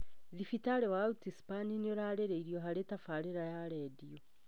Thibitarĩ wa Outspan nĩ ũrarĩrĩrio harĩ tabarĩra ya redio